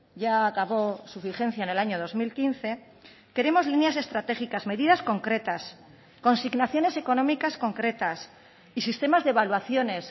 ya acabó su vigencia en el año dos mil quince queremos líneas estratégicas medidas concretas consignaciones económicas concretas y sistemas de evaluaciones